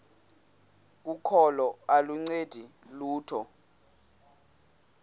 kokholo aluncedi lutho